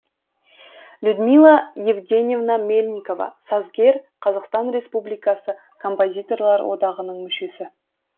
людмила евгеньевна мельникова сазгер қазақсатан республикасы композиторлар одағының мүшесі